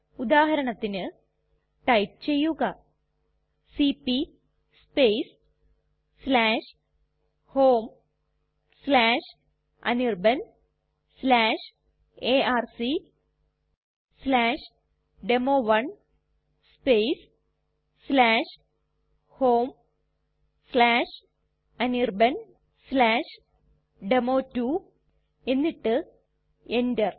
ഉദാഹരണത്തിന് ടൈപ്പ് ചെയ്യുക C P homeanirbanarcdemo1 homeanirbandemo2 എന്നിട്ട് enter